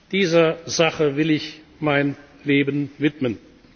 Dieser Sache will ich mein Leben widmen.